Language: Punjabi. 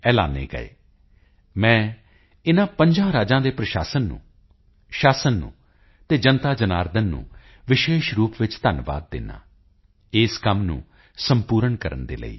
ਐਲਾਨੇ ਗਏ ਮੈਂ ਇਨਾਂ ਪੰਜਾਂ ਰਾਜਾਂ ਦੇ ਪ੍ਰਸ਼ਾਸਨ ਨੂੰ ਸ਼ਾਸਨ ਨੂੰ ਅਤੇ ਜਨਤਾਜਨਾਰਦਨ ਦਾ ਵਿਸ਼ੇਸ਼ ਰੂਪ ਵਿੱਚ ਧੰਨਵਾਦ ਕਰਦਾ ਹਾਂ ਇਸ ਕੰਮ ਨੂੰ ਸੰਪੂਰਨ ਕਰਨ ਲਈ